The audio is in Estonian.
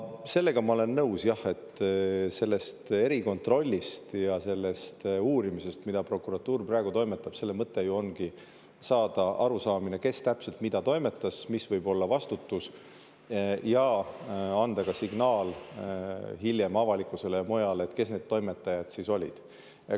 Sellega ma olen nõus, jah, et selle erikontrolli ja uurimise mõte, mida prokuratuur praegu, ju ongi saada arusaamine, kes täpselt mida toimetas, mis võib olla vastutus, ja anda ka signaal hiljem avalikkusele, et kes need toimetajad siis olid.